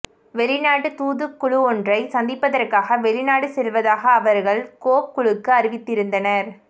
வெளிநாட்டு தூதுக்குழுவொன்றை சந்திப்பதற்காக வெளிநாடு செல்வதாக அவர்கள் கோப் குழுவுக்கு அறிவித்திருந்தனர்